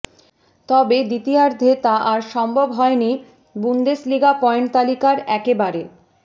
তবে দ্বিতীয়ার্ধে তা আর সম্ভব হয়নি বুন্দেসলিগা পয়েন্ট তালিকার একেবারে